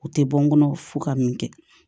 U tɛ bɔ n kɔnɔ fo ka min kɛ